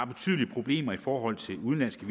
betydelige problemer i forhold til udenlandske